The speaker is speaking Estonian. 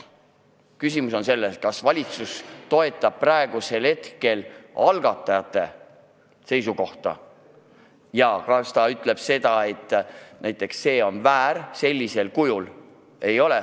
Küsimus on selles, kas valitsus toetab algatajate seisukohta ja kas ta ütleb seda, et miski on näiteks väär sellisel kujul.